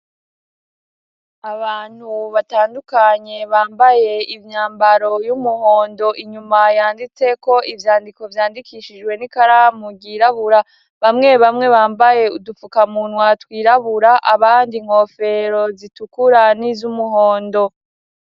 Abantu batandukanye bambaye imyambaro y'umuhondo, inyuma yanditse ko ivyandiko vyandikishijwe n'ikaramu ryirabura ; bamwe bamwe bambaye udufukamunwa twirabura, abandi inkofero zitukura niz'umuhondo.